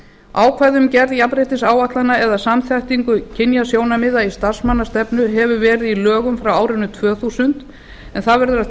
ákvæði um gerð jafnréttisáætlana eða samþættingu kynjasjónarmiða í starfsmannastefnu hefur verið í lögum frá árinu tvö þúsund en það verður að